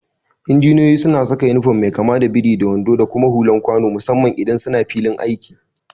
Injiniyoyi suna saka inifom mai kama da biri da wando da kuma hulan kwano musamman idan suna filin aiki.